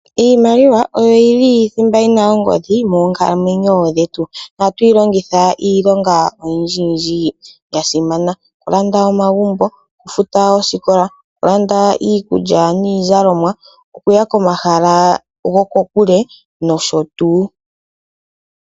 Iimaliwa oyo yili thimba yina ongodhi moonkalamwenyo dhetu, na ohatu yi longitha iilonga oyindji oyindji ya simana, oku landa omagumbo, oku futa oosikola, oku landa iikulya niizalomwa ,okuya komahala go ko kule no sho tuu.